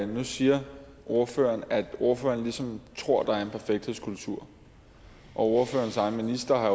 nu siger ordføreren at ordføreren ligesom tror at der er en perfekthedskultur og ordførerens egen minister har